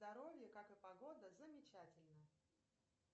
здоровье как и погода замечательно